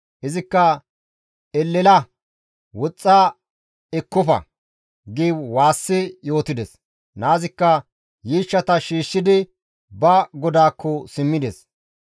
Izikka, «Elela! Woxxa! Eqqofa!» gi waassi yootides; naazikka yiishshata shiishshidi ba godaakko simmides.